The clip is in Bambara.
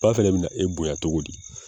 Ba fɛnɛ bina e bonya togo di